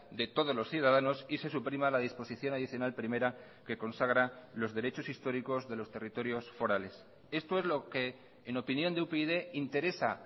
de todos los ciudadanos y se suprima la disposición adicional primera que consagra los derechos históricos de los territorios forales esto es lo que en opinión de upyd interesa